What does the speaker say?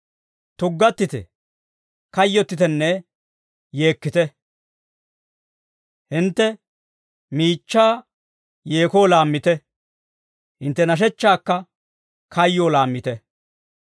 Tuggattite; kayyottitenne yeekkite. Hintte miichchaa yeekoo laammite; hintte nashechchaakka kayyoo laammite.